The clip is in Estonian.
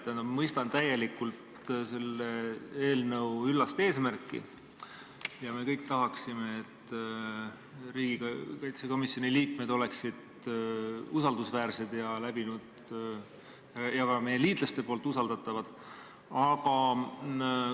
Tähendab, ma mõistan täielikult selle eelnõu üllast eesmärki – me kõik tahaksime, et riigikaitsekomisjoni liikmed oleksid usaldusväärsed ja ka meie liitlaste seas usaldatavad.